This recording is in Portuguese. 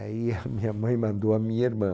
Aí a minha mãe mandou a minha irmã.